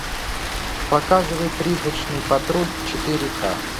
показывай призрачный патруль четыре ка